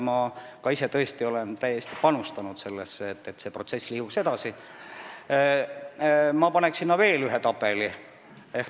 Ma ise olen ka tõesti panustanud sellesse, et see protsess edasi liiguks, ja ma paneks juurde veel ühe tabeli.